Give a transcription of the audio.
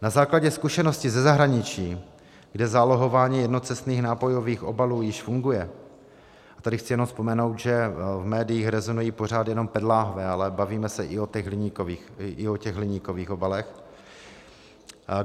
Na základě zkušenosti ze zahraničí, kde zálohování jednocestných nápojových obalů již funguje, tady chci jenom vzpomenout, že v médiích rezonují pořád jenom PET lahve, ale bavíme se i o těch hliníkových obalech.